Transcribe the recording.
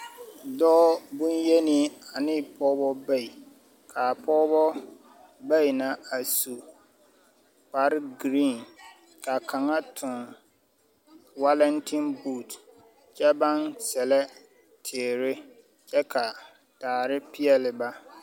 Dɔɔ boŋ-yenii ane pɔɔbɔ bayi. Kaa pɔɔbɔ bayi na a su kparegiriiŋ kaa kaŋa toŋ walantinbuut kyɛ baŋ sɛllɛ teere kyɛ ka, daare peɛle ba.